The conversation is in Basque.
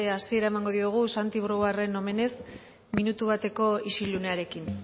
hasiera emango diogu santi brouarden omenez minutu bateko isilunearekin